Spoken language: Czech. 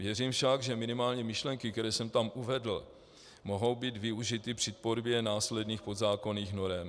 Věřím však, že minimálně myšlenky, které jsem tam uvedl, mohou být využity při tvorbě následných podzákonných norem.